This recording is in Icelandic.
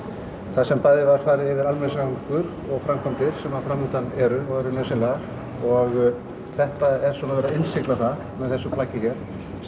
þar sem bæði var farið yfir almenningssamgöngur og framkvæmdir sem fram undan eru og eru nauðsynlegar og þetta er svona verið að innsigla það með þessu plaggi hér